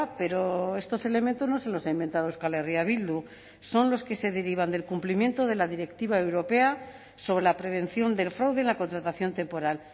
pero estos elementos no se los ha inventado euskal herria bildu son los que se derivan del cumplimiento de la directiva europea sobre la prevención del fraude en la contratación temporal